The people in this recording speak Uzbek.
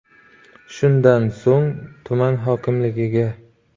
Shundan so‘ng tuman hokimligiga.